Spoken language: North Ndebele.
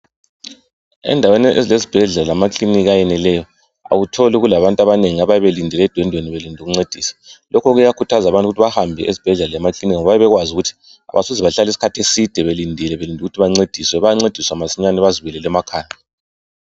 Endaweni ezileziibhedlela lamakilinika ayeneleyo awutholi kulabantu abanengi edwendweni abayabe belindele ukuncediswa. Lokho kuyakhuthàza abantu ukuthi bahambe ezibhedlela lasemakilinika ngoba bayabe besazi ukuthi bayancediswa masinyane bazibuyelele emakhaya.